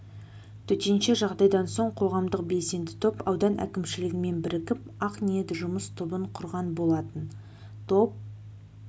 төтенше жағдайдан соң қоғамдық белсенді топ аудан әкімшілігімен бірігіп ақ ниет жұмыс тобын құрған болатын топ